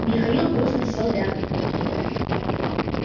михаил грузно сел рядом